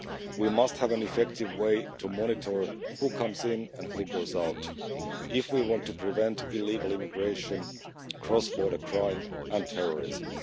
We must have an effective way to monitor who comes in and who goes out if we want to prevent illegal immigration, cross border crime and terrorism.